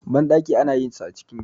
banɗaki ana yin sa a cikin gida